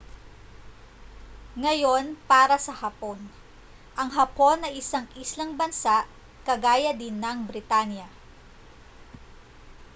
ngayon para sa hapon ang hapon ay isang islang bansa kagaya din ng britanya